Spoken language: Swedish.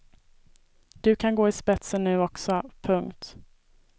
Du kan gå i spetsen nu också. punkt